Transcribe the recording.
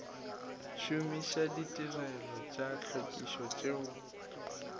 šomiša ditirelo tša tlhwekišo tšeo